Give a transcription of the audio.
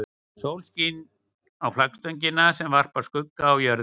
Sólin skín á flaggstöngina sem varpar skugga á jörðina.